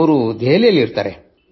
ಅವರು ದೆಹಲಿಯಲ್ಲಿರುತ್ತಾರೆ